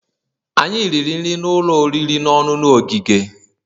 Anyị riri nri n'ụlọ oriri na ọṅụṅụ ogige